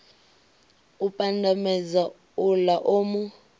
u pandamedza uḽa o mu